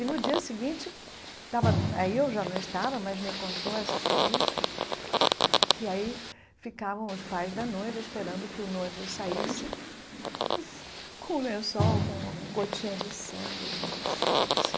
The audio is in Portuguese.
E no dia seguinte, estava aí eu já não estava, mas me contou essa família, que aí ficavam os pais da noiva esperando que o noivo saísse com o lençol, com uma gotinha de sangue né, essa coisa assim.